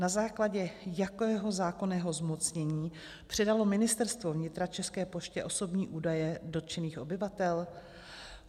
Na základě jakého zákonného zmocnění předalo Ministerstvo vnitra České poště osobní údaje dotčených obyvatel?